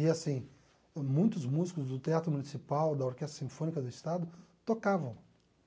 E, assim, muitos músicos do teatro municipal, da orquestra sinfônica do estado, tocavam